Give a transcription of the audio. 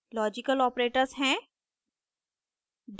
logical operators हैं